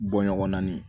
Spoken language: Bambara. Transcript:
Bɔ ɲɔgɔn na nin